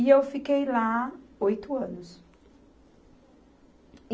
E eu fiquei lá oito anos.